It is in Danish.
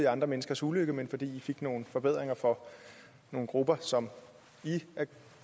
andre menneskers ulykke men fordi i fik nogle forbedringer for nogle grupper som i er